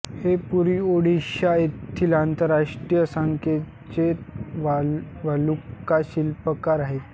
हे पुरी ओडिशा येथील आंतरराष्ट्रीय ख्यातीचे वालुका शिल्पकार आहेत